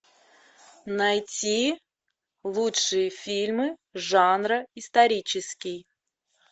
найти лучшие фильмы жанра исторический